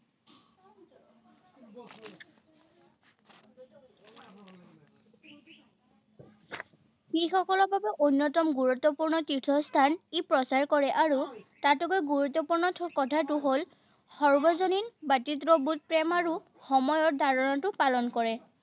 শিখসকলৰ বাবে অন্যতম গুৰুত্বপূৰ্ণ তীৰ্থস্থান ই প্ৰচাৰ কৰে আৰু তাতোকৈ গুৰুত্বপূৰ্ণ কথাটো হল - সাৰ্বজনীন, ভাতৃত্ববোধ, প্ৰেম, আৰু সময় ধাৰণাটো পালন কৰে।